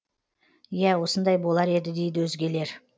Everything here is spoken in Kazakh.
иә осындай болар еді дейді өзгелер